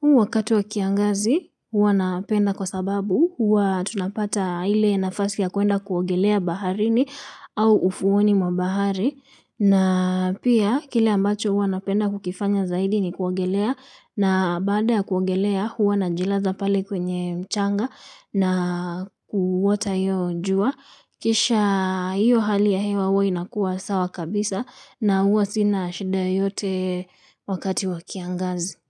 Huu wakati wakiangazi huwa napenda kwa sababu huwa tunapata ile nafasi ya kuenda kuogelea baharini au ufuoni mwa bahari. Na pia kile ambacho huwa napenda kukifanya zaidi ni kuogelea na baada ya kuogelea huwa najilaza pale kwenye mchanga na kuota iyo jua. Kisha hiyo hali ya hewa huwa inakua sawa kabisa na huwa sina shida yoyote wakati wa kiangazi.